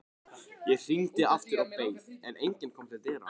Ég hringdi aftur og beið, en enginn kom til dyra.